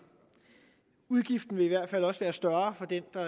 udgiften ville i hvert fald også være større for den der